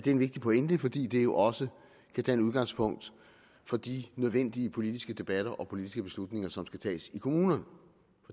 en vigtig pointe fordi det jo også kan danne udgangspunkt for de nødvendige politiske debatter og politiske beslutninger som skal tages i kommunerne